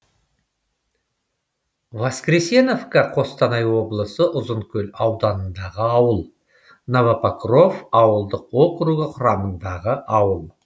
воскресеновка қостанай облысы ұзынкөл ауданындағы ауыл новопокров ауылдық округі құрамындағы ауыл